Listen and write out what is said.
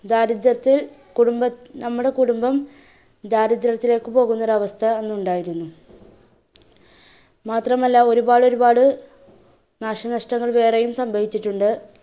ദാരിദ്ര്യത്തിൽ കുടുംബ~ നമ്മുടെ കുടുംബം ദാരിദ്ര്യത്തിലേക്ക് പോകുന്ന ഒരു അവസ്ഥ അന്ന് ഉണ്ടായിരുന്നു. മാത്രമല്ല ഒരുപാട് ഒരുപാടു നാശനഷ്ടങ്ങൾ വേറെയും സംഭവിച്ചിട്ടുണ്ട്.